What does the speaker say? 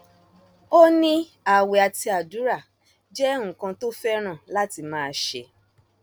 ó ní ààwẹ àti àdúrà jẹ nǹkan tó fẹràn láti máa ṣe